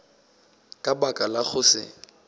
ka baka la go se